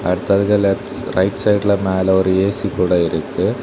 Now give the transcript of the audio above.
அடுத்ததுக்கு left right சைடுல மேல ஒரு ஏசி கூட இருக்கு.